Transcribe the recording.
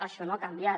això no ha canviat